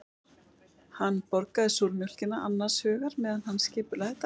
Hann borðaði súrmjólkina annars hugar meðan hann skipulagði daginn.